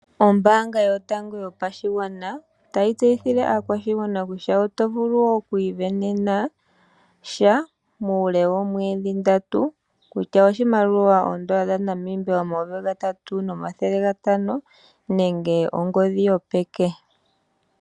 Ombaanga yotango yopashigwana otayi tseyithile aakwashigwana kutya oto vulu okwiisindanena sha muule woomwedhi ndatu kutya oshimaliwa shoodola omayovi gatatu nomathele gatano nenge ongodhi yopeke.